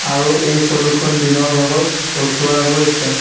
আৰু এই ফটো খন দিনৰ ভাগত উঠোৱা গৈছে।